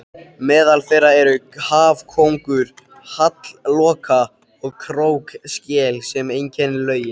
Meðal þeirra eru hafkóngur, hallloka og krókskel sem einkennir lögin.